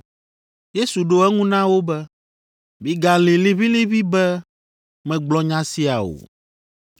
Yesu ɖo eŋu na wo be, “Migalĩ liʋĩliʋĩ be megblɔ nya sia o.